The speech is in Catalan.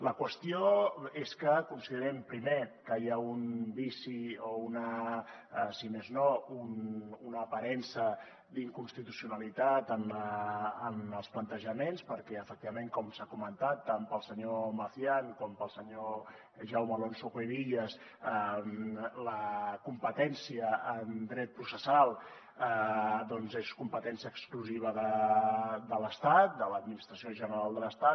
la qüestió és que considerem primer que hi ha un vici o si més no una aparença d’inconstitucionalitat en els plantejaments perquè efectivament com s’ha comentat tant pel senyor macián com pel senyor jaume alonso cuevillas la competència en dret processal és competència exclusiva de l’estat de l’administració general de l’estat